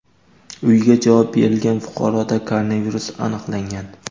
uyiga javob berilgan fuqaroda koronavirus aniqlangan.